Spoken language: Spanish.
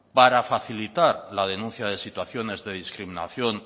para facilitar la denuncia de situaciones de discriminación